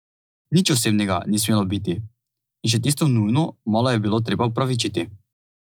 Nič osebnega ni smelo biti, in še tisto nujno malo je bilo treba opravičiti.